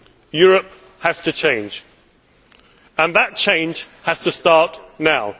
Europe has to change, and that change has to start now.